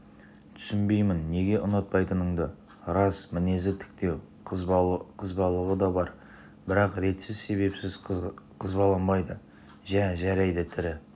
түсінбеймін неге ұнатпайтыныңды рас мінезі тіктеу қызбалығы да бар бірақ ретсіз себепсіз қызбаланбайды жә жарайды тірі